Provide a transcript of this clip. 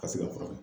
Ka se ka furakɛ